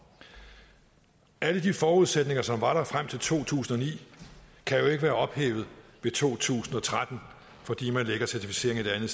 alle de forudsætninger som var der frem til to tusind og ni kan jo ikke være ophævet i to tusind og tretten fordi man lægger certificeringen